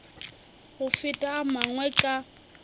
go feta a mangwe ka